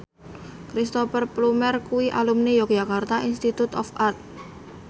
Cristhoper Plumer kuwi alumni Yogyakarta Institute of Art